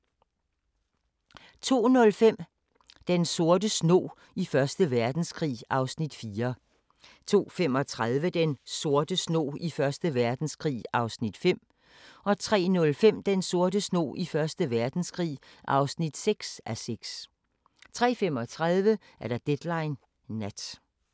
02:05: Den sorte snog i Første Verdenskrig (4:6) 02:35: Den sorte snog i Første Verdenskrig (5:6) 03:05: Den sorte snog i Første Verdenskrig (6:6) 03:35: Deadline Nat